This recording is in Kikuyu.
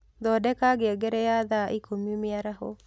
Thondeka ngengere ya thaa ĩkũmĩ mĩaraho